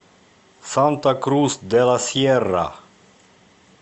санта крус де ла сьерра